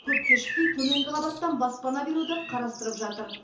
көп кешікпей төменгі қабаттан баспана беруді қарастырып жатыр